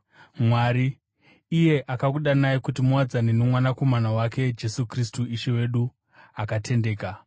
Mwari, iye akakudanai kuti muwadzane noMwanakomana wake Jesu Kristu Ishe wedu, akatendeka.